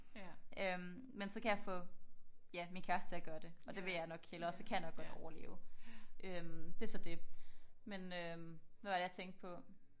Øh men så kan jeg få ja min kæreste til at gøre det og det vil jeg nok hellere. Så kan jeg nok godt overleve. Øh det er så det. Men øh hvad var det jeg tænkte på